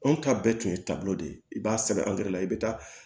Anw ta bɛɛ tun ye taabolo de ye i b'a sɛbɛn i be taa